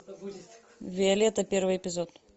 виолетта первый эпизод